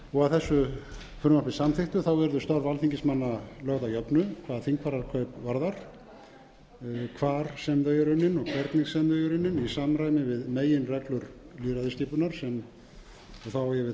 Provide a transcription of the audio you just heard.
að þessu frumvarpi samþykktu verða störf alþingismanna lögð að jöfnu hvað þingfararkaup varðar hvar sem þau eru unnin og hvernig sem þau eru unnin í samræmi við meginreglur lýðræðisskipunar þá á ég við það að þegar kjósendur hafa